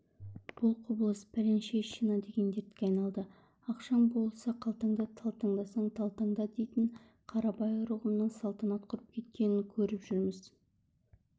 бұл құбылыс пәленшещина деген дертке айналды ақшаң болса қалтаңда талтаңдасаң талтаңда дейтін қарабайыр ұғымның салтанат құрып кеткенін көріп жүрміз